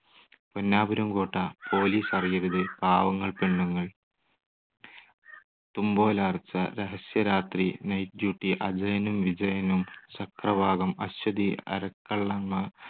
Ponnapuram Kotta, police അറിയരുത്, പാവങ്ങൾ പെണ്ണുങ്ങൾ. തുമ്പോലാർച്ച, രഹസ്യരാത്രി, നൈറ്റ് ഡ്യൂട്ടി, അജയനും വിജയനും, ചക്രവാകം, അശ്വതി, അരക്കള്ളൻ മ